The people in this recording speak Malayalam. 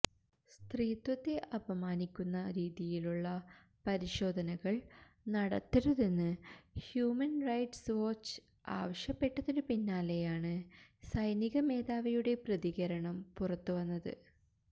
സ്ത്രീത്വത്തെ അപമാനിക്കുന്ന രീതിയിലുള്ള പരിശോധനകള് നടത്തരുതെന്ന് ഹ്യൂമന് റൈറ്റ്സ് വാച്ച് ആവശ്യപ്പെട്ടതിനു പിന്നാലെയാണ് സൈനിക മേധാവിയുടെ പ്രതികരണം പുറത്തുവന്നത്